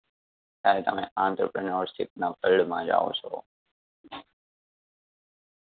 ત્યારે તમે entrepreneurship ના field માં જાઓ છો.